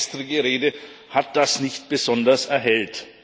Auch die gestrige Rede hat das nicht besonders erhellt.